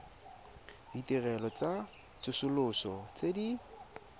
ditirelo tsa tsosoloso tse di